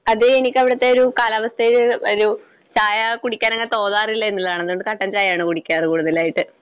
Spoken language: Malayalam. അത് എനിക്കവിടുത്തെ ഒരു കാലാവസ്ഥയിൽ ഒരു ചായ കുടിക്കാൻ അങ്ങനെ തോന്നാറില്ല എന്നുള്ളതാണ്. അതുകൊണ്ട് കട്ടൻ ചായ ആണ് കുടിക്കാറ് കൂടുതലായിട്ട്.